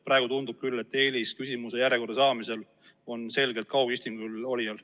Praegu tundub küll sedasi, et eelis küsimuste järjekorda saamisel on selgelt kaugistungil olijal.